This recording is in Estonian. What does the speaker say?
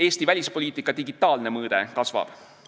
Eesti välispoliitika digitaalne mõõde kasvab.